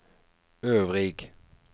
øvrig